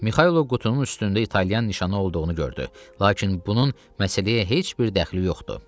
Mixaylov qutunun üstündə italyan nişanı olduğunu gördü, lakin bunun məsələyə heç bir dəxli yox idi.